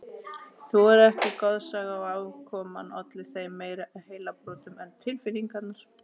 Þau voru ekki goðsaga og afkoman olli þeim meiri heilabrotum en tilfinningarnar.